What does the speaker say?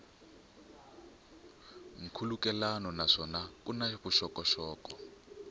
nkhulukelano naswona ku na vuxokoxoko